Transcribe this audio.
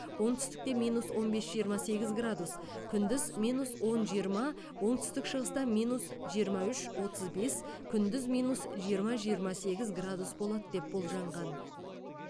оңтүстікте минус он бес жиырма сегіз градус күндіз минус он жиырма оңтүстік шығыста минус жиырма үш отыз бес күндіз минус жиырма жиырма сегіз градус болады деп болжанған